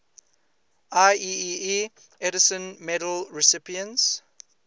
ieee edison medal recipients